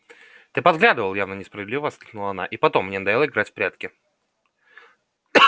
ты подглядывал явно несправедливо воскликнула она и потом мне надоело играть в прятки